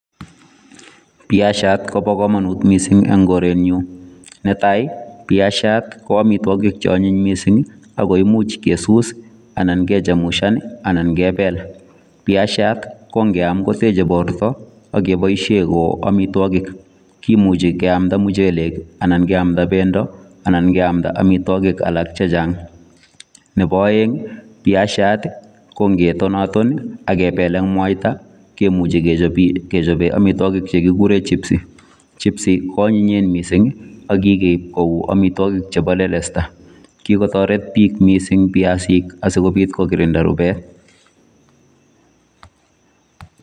piasiat kopo komonut missing en korenyun netai piasiat ko omitwokik che onyiny missing ii agoi imuch kesus anan kechemushan anan kebel piasiat kongengiam koteche borto ak keboishen ko amitwokik kimuchi keamnda muchelek ii anan keamnda pendo anan keamnda amitwokik alak chechang nepo oeng piasiat kongetonaton ii ak kebel ak mwaita kemuchi kechobe amitwokik che kikuren chipsii chipsii koanyinyen missing ako kikeip kou amitwokik chepo lelesta kikotoret biik missing piasik asikobit kokirinda rubet